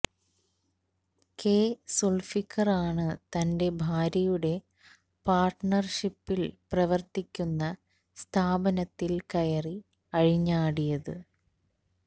K സുൾഫിക്കറാണ് തന്റെ ഭാര്യയുടെ പാർട്ട്ണർഷിപ്പിൽ പ്രവർത്തിക്കുന്ന സ്ഥാപനത്തിൽ കയറി അഴിഞ്ഞാടിയത്